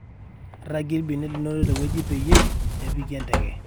ragie ilbenia linono tenewueji peyie epiki enteke